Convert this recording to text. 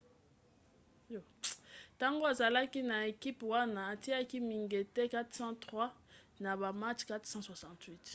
ntango azalaki na ekipe wana atiaki mingete 403 na ba match 468